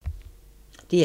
DR1